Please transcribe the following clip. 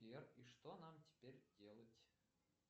сбер и что нам теперь делать